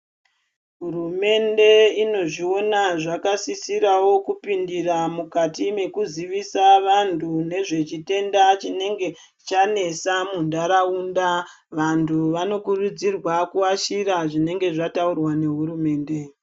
Hurumende ino zvoona zvaka sisirawo ku pindira mukati meku zivisa vantu nezve chitenda chinenge chanesa mu ndaraunda vantu vano kurudzirwa ku ashira zvinenge zvaturwa ne hurumende.